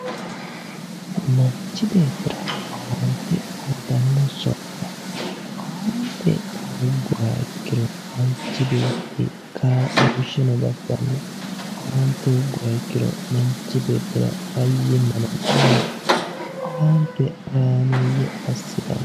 Manchi beetira owaante uyitanno sokka owaante hoogguha ikkiro manchi beetti kaa'loosheno di'afiranno owaante hoogguha ikkiro manchi beettira fayyimmano diheedhanno owaante horaameeyye assitanno